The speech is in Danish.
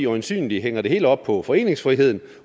øjensynlig hænger det hele op på foreningsfriheden